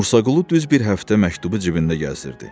Musaqulu düz bir həftə məktubu cibində gəzdirdi.